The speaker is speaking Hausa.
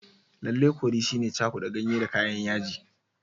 Lallai curry shine cakuda ganye da kayan yaji.